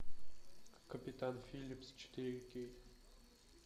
капитан филлипс четыре кей